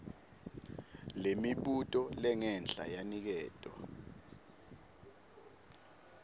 lemibuto lengenhla yaniketwa